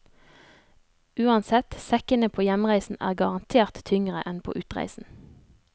Uansett, sekkene på hjemreisen er garantert tyngre enn på utreisen.